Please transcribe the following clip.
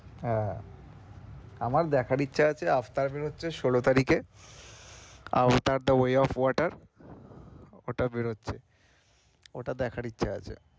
আহ আমার দেখার ইচ্ছা আছে আফটার বেরোচ্ছে, ষোলো তারিখে আফটার টা way of water ওটা বেরোচ্ছে ওটা দেখার ইচ্ছা আছে।